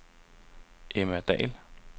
Emma Dall